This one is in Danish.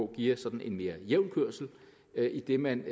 giver sådan en mere jævn kørsel idet man